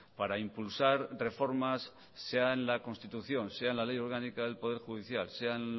para impulsar reformas sea en la constitución sea en la ley orgánica del poder judicial sea en